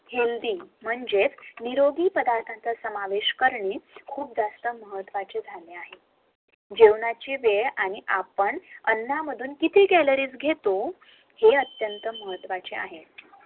HEALTHY म्हणजेच निरोगी पदार्थाचा समोवेश करणे खूप जास्त महत्वाचे झाले आहे जेवणाची वेळ आणि आपण अन्नांमधून किती CALORIES घेतो हे अत्यंत महत्वाचे आहे